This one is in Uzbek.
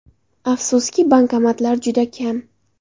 Afsuski, bankomatlar juda kam.